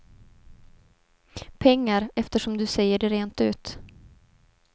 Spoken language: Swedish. Pengar, eftersom du säger det rent ut.